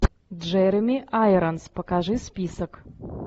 джереми айронс покажи список